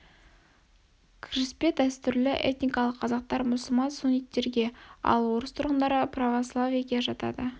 кіріспе дәстүрлі этникалық қазақтар мұсылман-сунниттерге ал орыс тұрғындары православиеге жатады